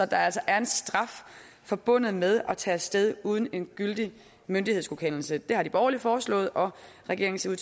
der altså er en straf forbundet med at tage af sted uden en gyldig myndighedsgodkendelse det har de borgerlige foreslået og regeringen ser